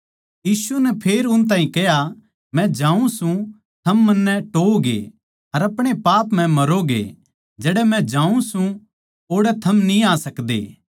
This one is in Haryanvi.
यीशु नै फेर उन ताहीं कह्या मै जाऊँ सूं अर थम मन्नै टोहओगे अर अपणे पाप म्ह मरोगे जड़ै मै जाऊँ सूं ओड़ै थम न्ही आ सकदे